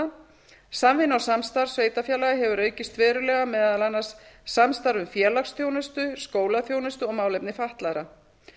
samvinna og samstarf sveitarfélaga hefur aukist verulega meðal annars samstarf um félagsþjónustu skólaþjónustu og málefni fatlaðra